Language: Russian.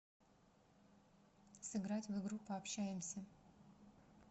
сыграть в игру пообщаемся